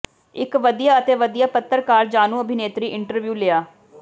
ਇਕ ਵਧੀਆ ਅਤੇ ਵਧੀਆ ਪੱਤਰਕਾਰ ਜਾਣੂ ਅਭਿਨੇਤਰੀ ਇੰਟਰਵਿਊ ਲਿਆ